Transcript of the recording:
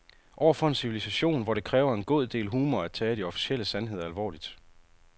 Over for en civilisation, hvor det kræver en god del humor at tage de officielle sandheder alvorligt.